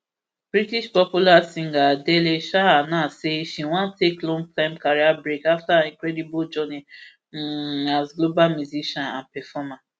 british popular singer adele um announce say she wan take long time career break afta her incredible journey um as global musician and performer